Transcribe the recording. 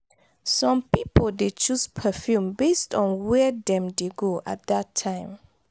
some pipo dey choose perfume based on where dem dey go at that time